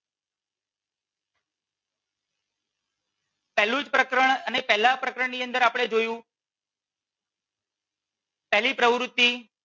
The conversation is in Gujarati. પહેલું જ પ્રકરણ અને પહેલા જ પ્રકરણ ની અંદર આપણે જોયું પહેલી પ્રવૃતિ